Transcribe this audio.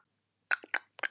Pabbi vildi gefa og kenna.